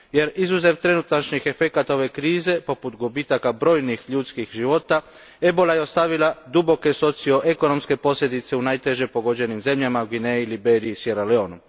Jer izuzev trenutačnih efekata ove krize poput gubitaka brojnih ljudskih života, ebola je ostavila duboke socioekonomske posljedice u najteže pogođenim zemljama Gvineji, Liberiji i Siera Leoneu.